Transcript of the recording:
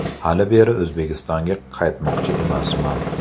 Hali beri O‘zbekistonga qaytmoqchi emasman.